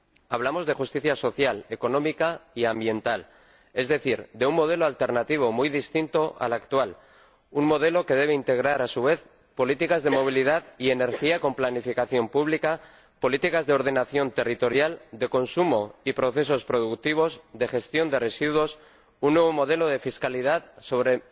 hablamos de justicia social, económica y ambiental, es decir, de un modelo alternativo muy distinto al actual, un modelo que debe integrar, a su vez, políticas de movilidad y energía con planificación pública, políticas de ordenación territorial, de consumo y procesos productivos, de gestión de residuos, un nuevo modelo de fiscalidad sobre